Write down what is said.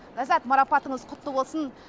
ляззат марапатыңыз құтты болсын